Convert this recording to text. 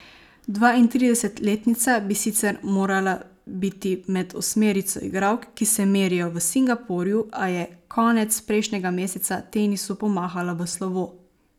Dvaintridesetletnica bi sicer morala biti med osmerico igralk, ki se merijo v Singapurju, a je konec prejšnjega meseca tenisu pomahala v slovo.